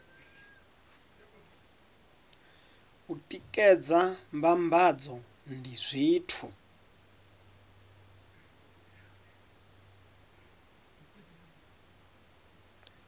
u tikedza mbambadzo ndi zwithu